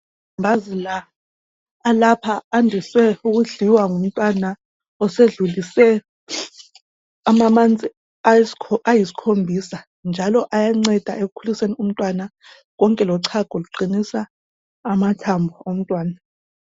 Ilambazi elilapha landise ukudliwa ngumntwana olenyanga eziyisikhombisa njalo ayanceda ukuthi ukhulise umntwana konke lochago luqinisa amathambo omntwana.